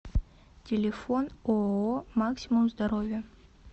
телефон ооо максимум здоровья